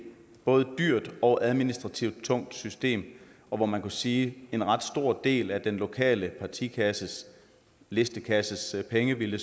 både dyrt og administrativt tungt system og hvor man kunne sige at en ret stor del af den lokale partikasses listekasses penge ville